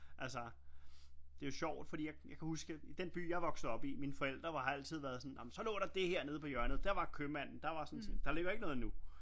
Altså det er jo sjovt fordi jeg kan huske i den by jeg voksede op i mine forældre har jo altid været sådan jamen så lå der det her nede på hjørnet der var købmanden der var sådan der ligger ikke noget nu